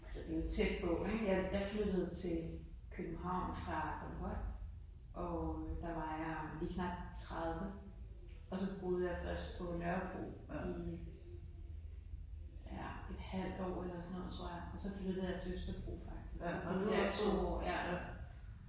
Altså det jo tæt på ik. Jeg jeg flyttede til København fra Bornholm og øh der var jeg lige knap 30 og så boede jeg først på Nørrebro i ja et halvt år eller sådan noget tror jeg og så flyttede jeg til Østerbro faktisk og boede der i to år ja